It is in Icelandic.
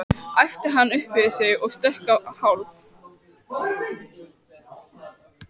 æpti hann upp yfir sig og stökk á hálf